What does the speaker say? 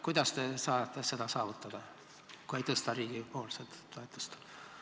Kuidas te saate seda saavutada, kui ei tõsta riigipoolset toetust?